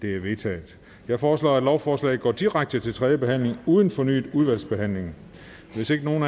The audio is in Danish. det er vedtaget jeg foreslår at lovforslaget går direkte til tredje behandling uden fornyet udvalgsbehandling hvis ikke nogen